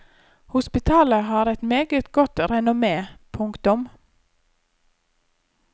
Hospitalet har et meget godt renommé. punktum